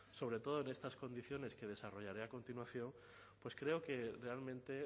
sobre todo en estas condiciones que desarrollaré a continuación pues creo que realmente